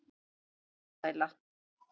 Þetta var alsæla.